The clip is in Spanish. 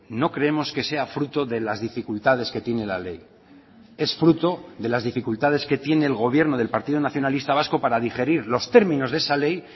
no creemos que sea fruto de las dificultades que tiene la ley es fruto de las dificultades que tiene el gobierno del partido nacionalista vasco para digerir los términos de esa ley